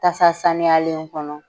Tasa saniyalenw kɔnɔ.